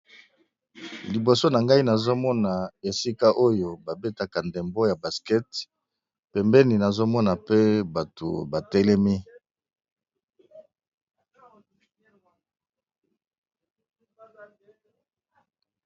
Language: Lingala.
Liboso na ngai nazomona esika oyo babetaka ndembo ya baskete, pembeni nazomona pe bato batelemi.